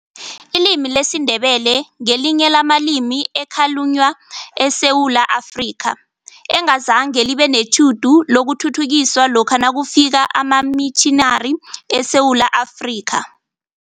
Ilimi lesiNdebele ngelinye lamalimi ekhalunywa eSewula Afrika, engazange libe netjhudu lokuthuthukiswa lokha nakufika amamitjhinari eSewula Afrika.